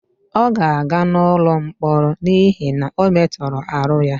ọ ga-aga n'ụlọ mkpọrọ n'ihi na ọ metoro aru ya